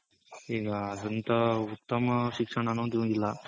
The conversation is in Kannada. ಈಗ ಅಂದಂತ ಉತ್ತಮ ಶಿಕ್ಷಣ ಅನ್ನೋದ್ ಒಂದಿಲ್ಲ.